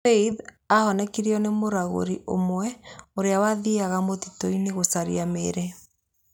Faith aahonokirio nĩ mũragũri ũmwe ũrĩa wathiaga mũtitũ-inĩ gũcaria mĩri.